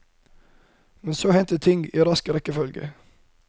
Men så hendte ting i rask rekkefølge.